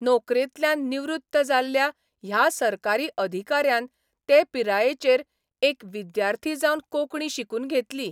नोकरेंतल्यान निवृत्त जाल्ल्या ह्या सरकारी अधिकाऱ्यान ते पिरायेचेर एक विद्यार्थी जावन कोंकणी शिकून घेतली.